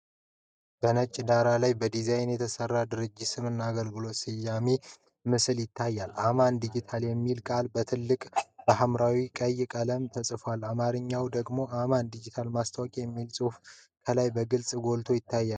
በነጭ ዳራ ላይ በዲዛይን የተሰራ የድርጅት ስም እና አገልግሎት የሚገልጽ ምስል ይታያል። "AMAN DIGITAL" የሚለው ቃል በትልቁና በሐምራዊና ቀይ ቀለማት ተጽፏል። በአማርኛ ደግሞ "አማን ዲጂታል ማስታወቂያ" የሚል ጽሑፍ ከላይ በግልጽ ጎልቶ ይታያል።